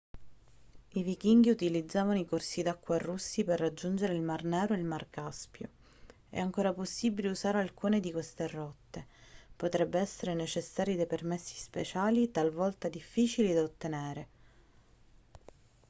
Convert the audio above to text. i vichinghi utilizzavano i corsi d'acqua russi per raggiungere il mar nero e il mar caspio è ancora possibile usare alcune di queste rotte potrebbero essere necessari dei permessi speciali talvolta difficili da ottenere